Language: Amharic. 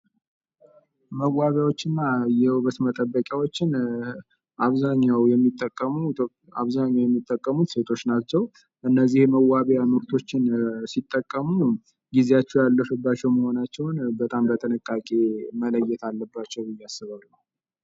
መዋቢያዎች እና የውበት መጠበቂያዎችን አብዛኛው የሚጠቀሙት ሴቶች ናቸው። እነዚህ የመዋቢያ ምርቶችን ሲጠቀሙ ጊዜያቸው ያለፈባቸውን መሆናቸውን በጣም በጥንቃቄ መለየት አለባቸው ብዬ አስባለሁ።